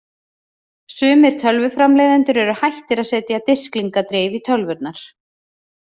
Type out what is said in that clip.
Sumir tölvuframleiðendur eru hættir að setja disklingadrif í tölvurnar.